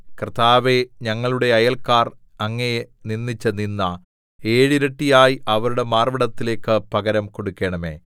കർത്താവേ ഞങ്ങളുടെ അയല്ക്കാർ അങ്ങയെ നിന്ദിച്ച നിന്ദ ഏഴിരട്ടിയായി അവരുടെ മാർവ്വിടത്തിലേക്ക് പകരം കൊടുക്കണമേ